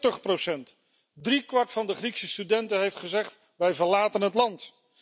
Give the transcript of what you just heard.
40 Driekwart van de Griekse studenten heeft gezegd wij verlaten het land!